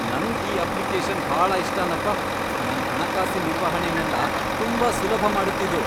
ನಂಗ್ ಈ ಅಪ್ಲಿಕೇಶನ್ ಭಾಳ ಇಷ್ಟನಪ್ಪ, ನನ್ ಹಣಕಾಸಿನ್ ನಿರ್ವಹಣೆನೆಲ್ಲ ತುಂಬಾ ಸುಲಭ ಮಾಡತ್ತಿದು.